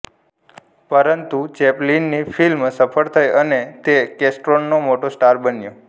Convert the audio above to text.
પરંતુ ચૅપ્લિનની ફિલ્મ સફળ થઈ અને તે કેસ્ટોનનો મોટો સ્ટાર બન્યો